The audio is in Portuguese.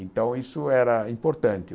Então, isso era importante.